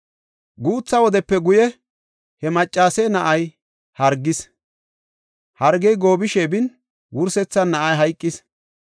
Guutha wodepe guye he maccase na7ay hargis; hargey goobishe bin, wursethan na7ay hayqis.